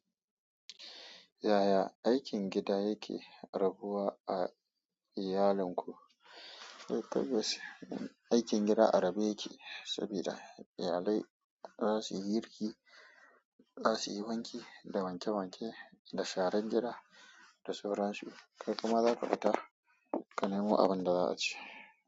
Yaya aikin gida yake rabuwa a iyalin ku? Tabbas aikin gida a rabe yake saboda iyalai za su yi girki, za su yi wanki da wanke wanke da sharan gida da sauran su. Kai kuma za ka fita ka nemo abin da za a ci.